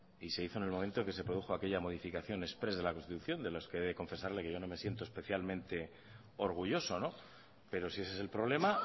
y se hizo en el momento que se produjo aquella modificación express de la constitución de lo que he de confesarle que yo no me siento especialmente orgulloso pero si ese es el problema